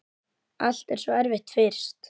Allt er svo erfitt fyrst.